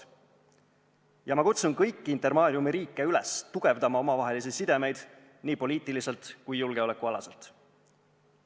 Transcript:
Ja ma kutsun kõiki Intermariumi riike üles tugevdama omavahelisi sidemeid nii poliitiliselt kui ka julgeolekualaselt.